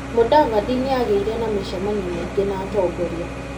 Mudavadi nĩ agĩire na mĩcemanio mĩingĩ na atongoria.